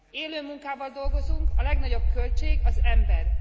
Élő munkával dolgozunk, a legnagyobb költség az ember.